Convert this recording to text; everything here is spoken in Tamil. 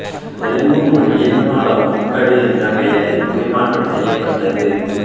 தெலுங்கு மொழியில் நாலொ ஒக்கடு என்ற பெயரில் மொழிமாற்றம் செய்யப்பட்டது